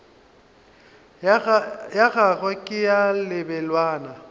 ya gagwe ke ya lebelwana